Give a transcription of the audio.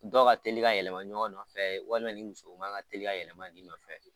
Dɔw ka teli ka yɛlɛma ɲɔgɔn nɔfɛ, walima nin musow man ka teli ka yɛlɛma i nɔfɛ